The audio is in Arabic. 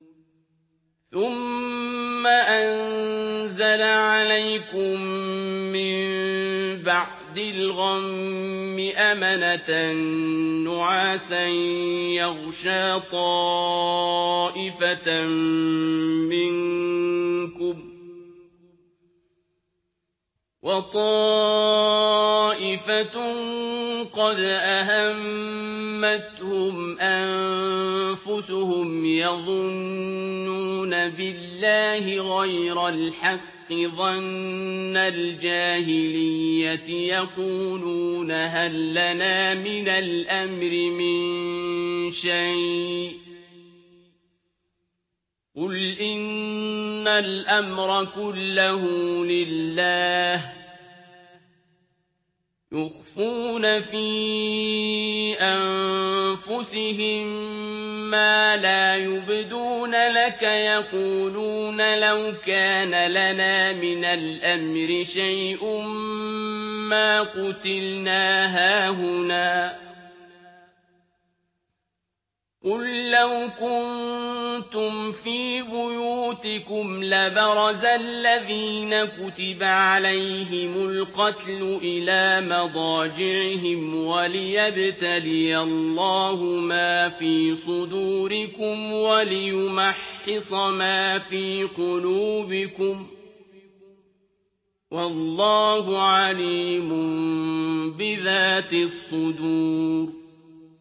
ثُمَّ أَنزَلَ عَلَيْكُم مِّن بَعْدِ الْغَمِّ أَمَنَةً نُّعَاسًا يَغْشَىٰ طَائِفَةً مِّنكُمْ ۖ وَطَائِفَةٌ قَدْ أَهَمَّتْهُمْ أَنفُسُهُمْ يَظُنُّونَ بِاللَّهِ غَيْرَ الْحَقِّ ظَنَّ الْجَاهِلِيَّةِ ۖ يَقُولُونَ هَل لَّنَا مِنَ الْأَمْرِ مِن شَيْءٍ ۗ قُلْ إِنَّ الْأَمْرَ كُلَّهُ لِلَّهِ ۗ يُخْفُونَ فِي أَنفُسِهِم مَّا لَا يُبْدُونَ لَكَ ۖ يَقُولُونَ لَوْ كَانَ لَنَا مِنَ الْأَمْرِ شَيْءٌ مَّا قُتِلْنَا هَاهُنَا ۗ قُل لَّوْ كُنتُمْ فِي بُيُوتِكُمْ لَبَرَزَ الَّذِينَ كُتِبَ عَلَيْهِمُ الْقَتْلُ إِلَىٰ مَضَاجِعِهِمْ ۖ وَلِيَبْتَلِيَ اللَّهُ مَا فِي صُدُورِكُمْ وَلِيُمَحِّصَ مَا فِي قُلُوبِكُمْ ۗ وَاللَّهُ عَلِيمٌ بِذَاتِ الصُّدُورِ